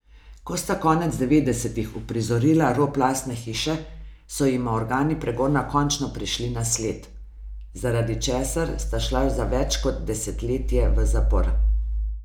Ko sta konec devetdesetih uprizorila rop lastne hiše, so jima organi pregona končno prišli na sled, zaradi česar sta šla za več kot desetletje v zapor.